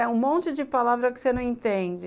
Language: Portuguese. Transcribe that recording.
É um monte de palavra que você não entende.